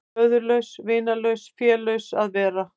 Föðurlaus, vinalaus, félaus að vera.